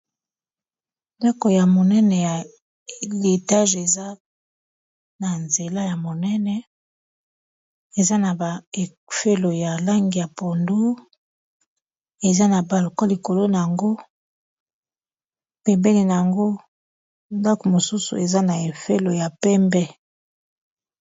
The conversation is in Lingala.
Ndako ya monene ya etage eza na nzela ya monene eza na ba efelo ya langi ya pondu eza na balcon likolo na yango pembeni na yango ndako mosusu eza na efelo ya pembe.